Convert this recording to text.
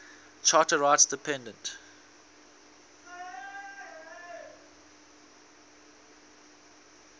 charter rights depend